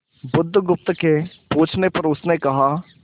बुधगुप्त के पूछने पर उसने कहा